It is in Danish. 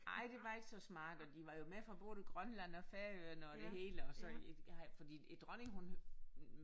Ej det var ikke så smart og de var jo med fra både Grønland og Færøerne og det hele og så havde fordi dronningen hun